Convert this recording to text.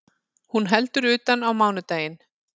Hún heldur utan á mánudaginn